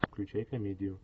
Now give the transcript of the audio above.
включай комедию